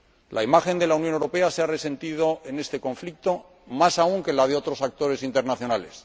La imagen de la Unión Europea se ha resentido en este conflicto más aún que la de otros actores internacionales.